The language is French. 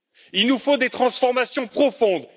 Il nous faut des transformations profondes